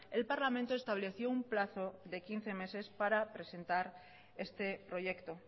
el parlamento estableció un plazo de quince meses para presentar este proyecto